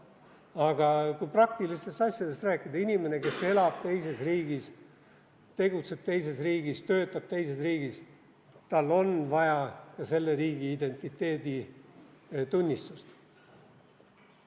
Aga kui praktilistest asjadest rääkida, siis inimene, kes elab teises riigis, tegutseb teises riigis, töötab teises riigis, tal on vaja ka selle riigi identiteeditunnistust.